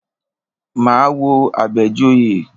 Máa wo Àbẹ̀joyè.